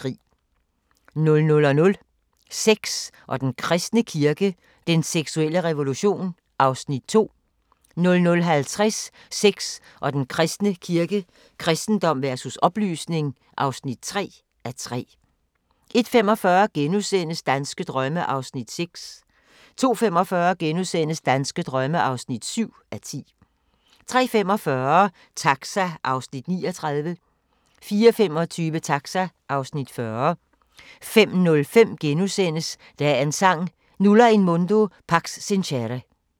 00:00: Sex og den kristne kirke – den seksuelle revolution (2:3) 00:50: Sex og den kristne kirke – kristendom versus oplysning (3:3) 01:45: Danske drømme (6:10)* 02:45: Danske drømme (7:10)* 03:45: Taxa (Afs. 39) 04:25: Taxa (Afs. 40) 05:05: Dagens Sang: Nulla in mundo pax sincere *